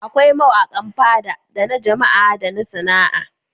Akwai mawaƙan Fada da na Jama'a da na Sana'a.